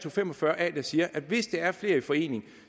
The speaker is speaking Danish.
og fem og fyrre a der siger at hvis der er flere i forening